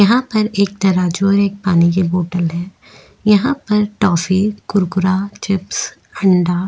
यहाँ पर एक तराजू है एक पानी की बोतल है। यहाँ पर टॉफ़ी कुरकुरा चिप्स अंडा-